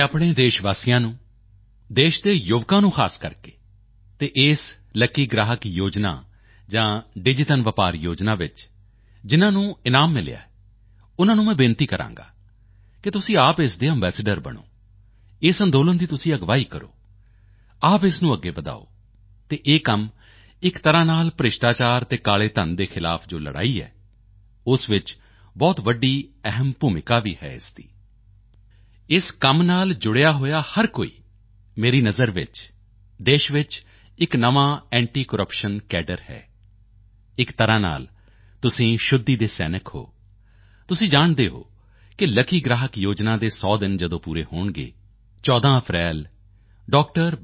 ਮੈਂ ਆਪਣੇ ਦੇਸ਼ ਵਾਸੀਆਂ ਨੂੰ ਦੇਸ਼ ਦੇ ਯੁਵਕਾਂ ਨੂੰ ਖ਼ਾਸ ਕਰਕੇ ਅਤੇ ਇਸ ਲੱਕੀ ਗ੍ਰਾਹਕ ਯੋਜਨਾ ਜਾਂ ਡਿਜੀਧਨ ਵਪਾਰ ਯੋਜਨਾ ਵਿੱਚ ਜਿਨ੍ਹਾਂ ਨੂੰ ਇਨਾਮ ਮਿਲਿਆ ਹੈ ਉਨ੍ਹਾਂ ਨੂੰ ਮੈਂ ਬੇਨਤੀ ਕਰਾਂਗਾ ਕਿ ਤੁਸੀਂ ਆਪ ਇਸ ਦੇ ਅੰਬੈਸਡਰ ਬਣੋ ਇਸ ਅੰਦੋਲਨ ਦੀ ਤੁਸੀਂ ਅਗਵਾਈ ਕਰੋ ਆਪ ਇਸ ਨੂੰ ਅੱਗੇ ਵਧਾਓ ਅਤੇ ਇਹ ਕੰਮ ਇਕ ਤਰ੍ਹਾਂ ਨਾਲ ਭ੍ਰਿਸ਼ਟਾਚਾਰ ਅਤੇ ਕਾਲੇ ਧਨ ਦੇ ਖਿਲਾਫ ਜੋ ਲੜਾਈ ਹੈ ਉਸ ਵਿੱਚ ਬਹੁਤ ਵੱਡੀ ਅਹਿਮ ਭੂਮਿਕਾ ਹੈ ਇਸ ਦੀ ਇਸ ਕੰਮ ਨਾਲ ਜੁੜਿਆ ਹੋਇਆ ਹਰ ਕੋਈ ਮੇਰੀ ਨਜ਼ਰ ਵਿੱਚ ਦੇਸ਼ ਵਿੱਚ ਇਕ ਨਵਾਂ ਅੰਤੀ ਕਰੱਪਸ਼ਨ ਕੈਡਰੇ ਹੈ ਇਕ ਤਰ੍ਹਾਂ ਨਾਲ ਤੁਸੀਂ ਸ਼ੁੱਧੀ ਦੇ ਸੈਨਿਕ ਹੋ ਤੁਸੀਂ ਜਾਣਦੇ ਹੋ ਕਿ ਲੱਕੀ ਗ੍ਰਾਹਕ ਯੋਜਨਾ ਦੇ 100 ਦਿਨ ਜਦੋਂ ਪੂਰੇ ਹੋਣਗੇ 14 ਅਪ੍ਰੈਲ ਡਾ